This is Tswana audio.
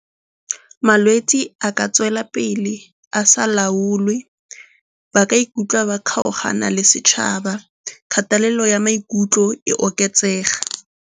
Malwetse a ka tswela pele a sa laolwe, ba ka ikutlwa ba kgaogana le setšhaba kgatelelo ya maikutlo e oketsega.